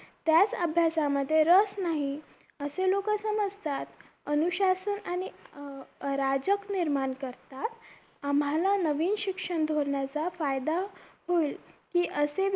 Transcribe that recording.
त्याच अभ्यास मध्ये रस नाही असे लोग अस समजतात अनुशासन आणि अं राजक निर्माण करतात आम्हाला नवीन शिक्षण धोरणाचा फायदा होईल की असे